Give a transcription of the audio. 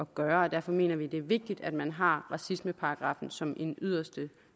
gøre derfor mener vi at det er vigtigt at man har racismeparagraffen som en yderste